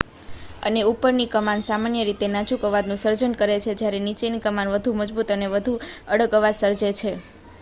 અને ઉપરની કમાન સામાન્ય રીતે નાજુક અવાજનું સર્જન કરે છે જ્યારે નીચેની કમાન વધુ મજબૂત અને વધુ અડગ અવાજ સર્જે છે